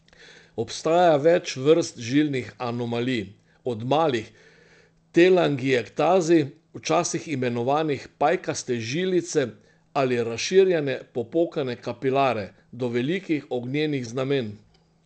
Obstaja več vrst žilnih anomalij, od malih telangiektazij, včasih imenovanih pajkaste žilice ali razširjene, popokane kapilare, do velikih ognjenih znamenj.